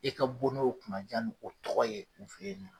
I ka bɔ n'o kunnaja ni o tɔgɔ ye u fe yen nɔ.